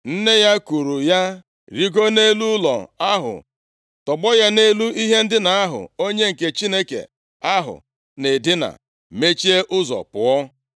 Nne ya kuuru ya rigoo nʼelu ụlọ ahụ, tọgbọ ya nʼelu ihe ndina ahụ onye nke Chineke ahụ na-edina, mechie ụzọ pụọ.